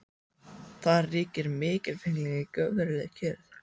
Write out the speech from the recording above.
Þar ríkir mikilfengleikinn í göfugri kyrrð.